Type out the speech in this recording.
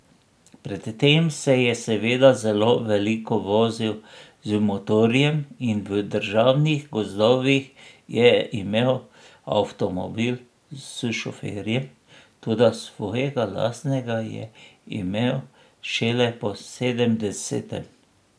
Predtem se je seveda zelo veliko vozil z motorjem in v Državnih gozdovih je imel avtomobil s šoferjem, toda svojega lastnega je imel šele po sedemdesetem.